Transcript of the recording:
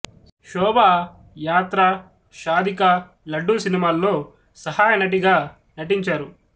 శోభాయాత్ర షాదీ కా లడ్డూ సినిమాల్లో సహాయ నటిగానూ నటించారు